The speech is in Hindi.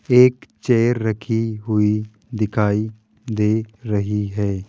एक चेयर रखी हुई दिखाई दे रही है।